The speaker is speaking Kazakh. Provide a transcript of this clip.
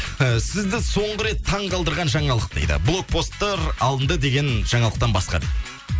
і сізді соңғы рет таңқалдырған жаңалық дейді блокпосттар алынды деген жаңалықтан басқа дейді